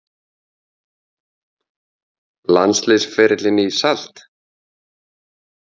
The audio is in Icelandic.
Landsliðsferillinn í salt?